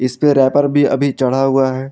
इस पे रैपर भी अभी चढ़ा हुआ है।